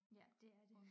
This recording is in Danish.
Ja det er det